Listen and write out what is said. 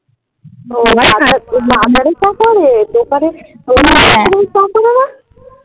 বাজারে চা করে দোকানে চা করে দেয়